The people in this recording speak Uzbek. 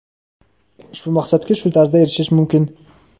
ushbu maqsadga shu tarzda erishish mumkin.